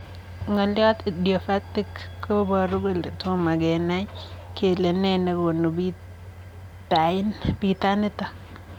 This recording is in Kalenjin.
Ngalyoo 'idiopatthic'koparuu kolee toma kenaa kelee nee negonuu pitaniitok